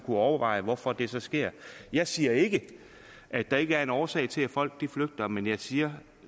overveje hvorfor det sker jeg siger ikke at der ikke er en årsag til at folk flygter men jeg siger